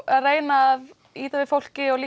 að reyna að ýta við fólki og